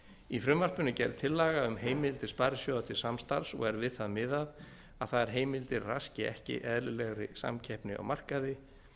í frumvarpinu er gerð tillaga um heimildir sparisjóða til samstarfs og er við það miðað að þær heimildir raski ekki eðlilegri samkeppni á markaði